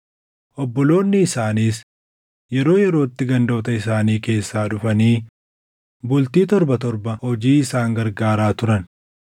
Obboloonni isaaniis yeroo yerootti gandoota isaanii keessaa dhufanii bultii torba torba hojii isaan gargaaraa turan.